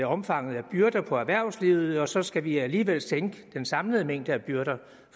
omfanget af byrder på erhvervslivet og så skal vi alligevel sænke den samlede mængde af byrder